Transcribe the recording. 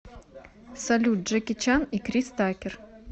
салют джеки чан и крис такер